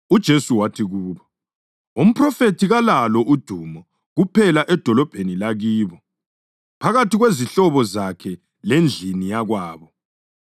UJesu wathi kubo, “Umphrofethi kalalo udumo kuphela edolobheni lakibo, phakathi kwezihlobo zakhe lendlini yakwabo.”